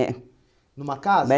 É. Numa casa?